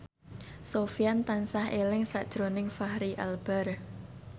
Sofyan tansah eling sakjroning Fachri Albar